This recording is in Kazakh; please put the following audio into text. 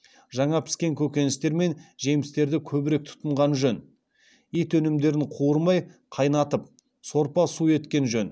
жаңа піскен көкеністер мен жемістерді көбірек тұтынған жөн ет өнімдерін қуырмай қайнатып сорпа су еткен жөн